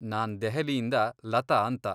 ನಾನ್ ದೆಹಲಿಯಿಂದ ಲತಾ ಅಂತ.